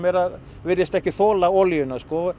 virðist ekki þola olíuna